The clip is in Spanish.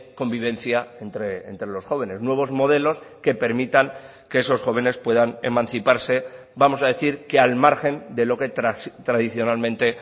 convivencia entre los jóvenes nuevos modelos que permitan que esos jóvenes puedan emanciparse vamos a decir que al margen de lo que tradicionalmente